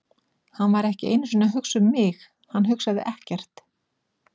Hann var ekki einu sinni að hugsa um mig, hann hugsaði ekkert.